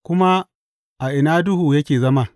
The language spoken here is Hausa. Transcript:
Kuma a ina duhu yake zama?